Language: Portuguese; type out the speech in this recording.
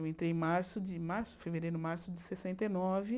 Eu entrei em março, em março em fevereiro, março de sessenta e nove.